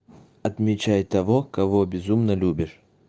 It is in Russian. отмечай того кого безумно любишь